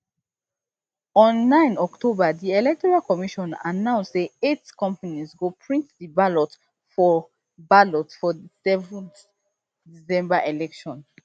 on nine october di electoral commission announce say eight companies go print di ballot for ballot for di seven december elections